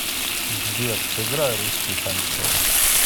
сбер сыграй русский шансон